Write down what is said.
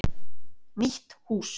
Nýtt hús.